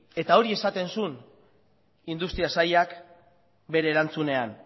eta hori esaten zuen industria sailak bere erantzunean